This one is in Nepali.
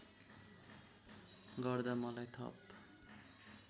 गर्दा मलाई थप